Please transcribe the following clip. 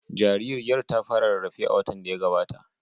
Jaririyar ta fara rarrafe a watan da ya gabata.